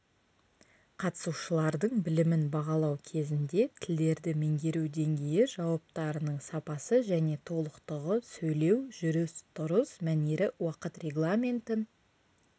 қатысушылардың білімін бағалау кезінде тілдерді меңгеру деңгейі жауаптарының сапасы және толықтығы сөйлеу жүріс-тұрыс мәнері уақыт регламентін